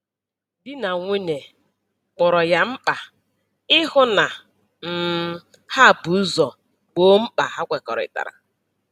Di na nwunye kpọrọ ya mkpa ịhụ na um ha bu ụzọ gboo mkpa ha kekọrịtara